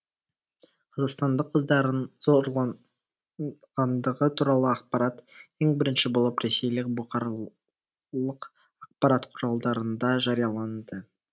қазақстандық қыздардың зорланғандығы туралы ақпарат ең бірінші болып ресейлік бұқаралық ақпарат құралдарында жарияланды